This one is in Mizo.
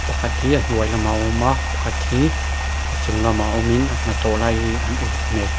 pakhat khi a hnuai lamah a awm a pakhat hi a chung lamah awmin an hnathawh lai hi an uluk hmel.